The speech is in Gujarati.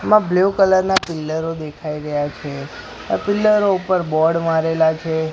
એમાં બ્લુ કલર ના પિલ્લરો દેખાય રહ્યા છે આ પિલ્લરો ઇપર બોર્ડ મારેલા છે.